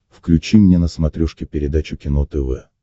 включи мне на смотрешке передачу кино тв